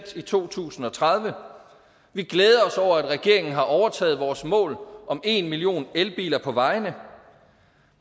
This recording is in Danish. i to tusind og tredive vi glæder os over at regeringen har overtaget vores mål om en million elbiler på vejene